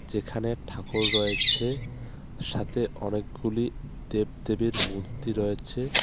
যেখানে ঠাকুর রয়েছে সাথে অনেকগুলি দেবদেবীর মূর্তি রয়েছে।